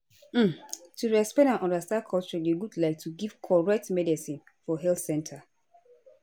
um to respect and understand culture dey good like to give correct medicines for health center